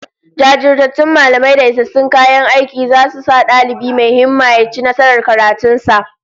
Jajirtattun mallamai da isassun kayan aiki zasu sa dalibi mai himma ya ci nasarar karatun sa